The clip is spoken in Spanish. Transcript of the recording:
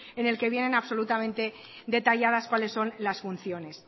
en el que vienen absolutamente detalladas cuáles son las funciones